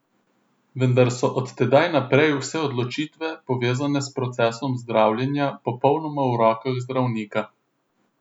Vendar so od tedaj naprej vse odločitve, povezane s procesom zdravljenja, popolnoma v rokah zdravnika.